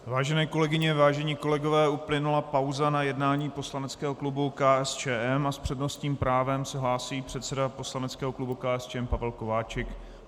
Vážené kolegyně, vážení kolegové, uplynula pauza na jednání poslaneckého klubu KSČM a s přednostním právem se hlásí předseda poslaneckého klubu KSČM Pavel Kováčik.